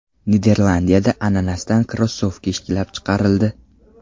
Niderlandiyada ananasdan krossovka ishlab chiqarildi.